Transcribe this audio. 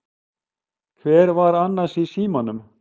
Hver var annars í símanum?